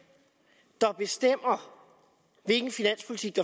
der bestemmer hvilken finanspolitik